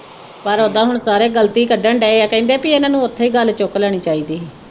ਪਰ ਉਦਾ ਹੁਣ ਸਾਰੇ ਗਲਤੀ ਕੱਢਣ ਦਏ ਆ ਕਹਿੰਦੇ ਬਈ ਇਨ੍ਹਾਂ ਨੂੰ ਉਥੇ ਹੀ ਗੱਲ ਚੁੱਕ ਲੈਣੀ ਚਾਹੀਦੀ ਹੀ